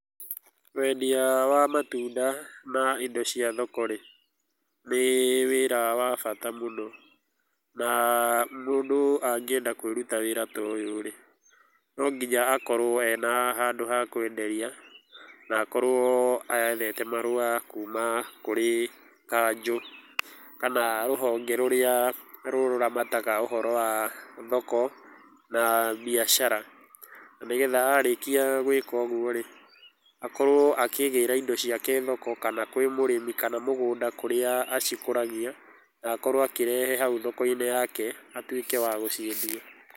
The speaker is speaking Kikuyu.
Wendia wa matunda na indo cia thoko rĩ nĩ wĩra wa bata mũno na mũndũ angĩenda kwĩruta wĩra ta ũyũ rĩ no nginya akorũo ena handũ ha kwenderia na akorũo ethete marũa kuuma kũrĩ kanjũ kana rũhonge rũrĩa rũramataga ũhoro wa thoko na biacara na nĩgetha arĩkia gwĩka ũguo rĩ, akorũo akĩgĩra indo ciake thoko kana kwĩ mũrĩmi, kana mũgũnda kũrĩa akũragia na akorũo akĩrehe hau thoko-inĩ yake akorũo wa gũciendia.